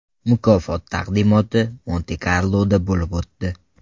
Mukofot taqdimoti Monte-Karloda bo‘lib o‘tdi.